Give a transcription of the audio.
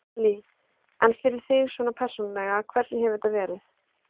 Lillý: En fyrir þig svona persónulega, hvernig hefur þetta verið?